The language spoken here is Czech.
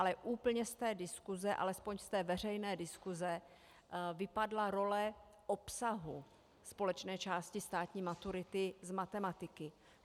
Ale úplně z té diskuse, alespoň z té veřejné diskuse, vypadla role obsahu společné části státní maturity z matematiky.